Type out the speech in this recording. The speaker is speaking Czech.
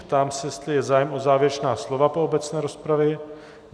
Ptám se, jestli je zájem o závěrečná slova po obecné rozpravě.